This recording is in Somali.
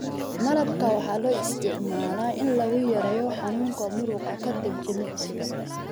Malabka waxaa loo isticmaalaa in lagu yareeyo xanuunka muruqa ka dib jimicsiga.